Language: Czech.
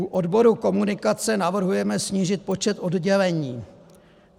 U odboru komunikace navrhujeme snížit počet oddělení.